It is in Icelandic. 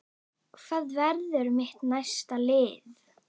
Hvað verður mitt næsta lið?